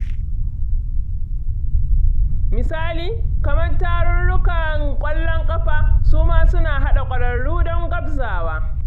Misali, kamar tarurrukan ƙwallon ƙafa, su ma suna haɗa ƙwararru don gwabzawa.